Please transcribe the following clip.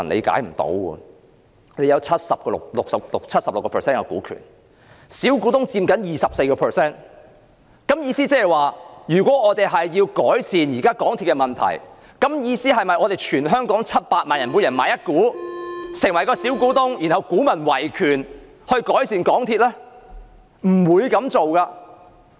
政府有 76% 股權，小股東佔 24%， 是否意味如要改善現時港鐵公司現況，全香港700萬人須各自購入一股，成為小股東，然後"股民維權"就可以改善港鐵公司呢？